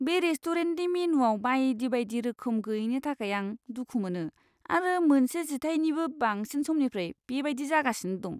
बे रेस्टुरेन्टनि मेनुआव बायदि बायदि रोखोम गैयैनि थाखाय आं दुखु मोनो आरो मोनसे जिथायनिबो बांसिन समनिफ्राय बेबायदि जागासिनो दं।